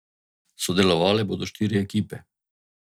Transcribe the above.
Sodelovale bodo štiri ekipe.